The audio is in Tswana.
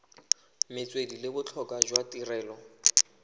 metswedi le botlhokwa jwa tirelo